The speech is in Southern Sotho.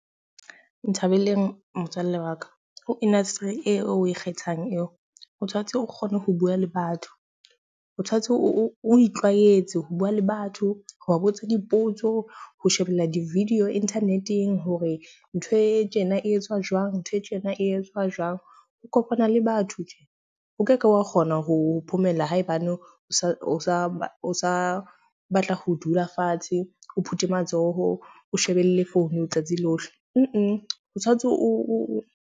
Nthabeleng, motswalle wa ka. Ho industry eo o e kgethang eo o tshwantse o kgone ho bua le batho. O tshwantse o itlwaetse ho bua le batho, ho ba botsa dipotso, ho shebella di-video internet-eng, hore ntho e tjena e etsuwa jwang, ntho e tjena e etsuwa jwang, ho kopana le batho tje. O ke ke wa kgona ho phomella haebane o sa o sa o sa batla ho dula fatshe, o phute matsoho, o shebelle phone letsatsi lohle. o tshwantse o .